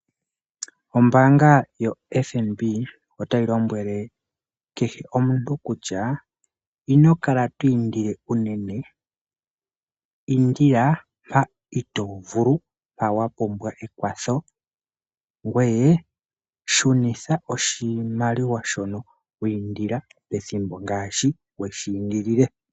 Ombaanga yo FNB otayi lombwele kehe omuntu kutya, ino kala to indile unene ,indila mpa iitovulu mpa wa pumbwa ekwatho ngoye shunitha oshimaliwa shono pethimbo ngaashi weshi indilile.